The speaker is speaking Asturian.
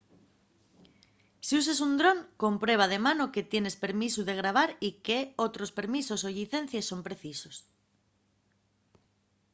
si uses un dron comprueba de mano que tienes permisu de grabar y qué otros permisos o llicencies son precisos